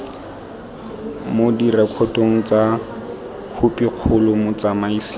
mo direkotong tsa khopikgolo motsamaisi